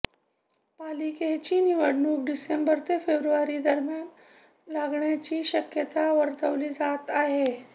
पालिकेची निवडणूक डिसेंबर ते फेब्रुवारी दरम्यान लागण्याची शक्यता वर्तवली जात आहे